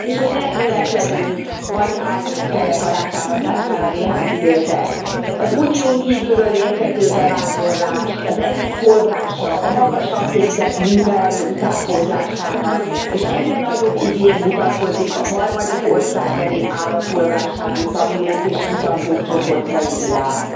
És hogy nem véletlenül, hadd álljon itt ennek alátámasztására néhány idézet Az Unión kívülről érkező bevándorlás az egyik forrása a magasan képzett munkaerő utánpótlásának, és egyre nagyobb igény mutatkozik a harmadik országbeli állampolgárságú tanulók és kutatók csoportjai iránt.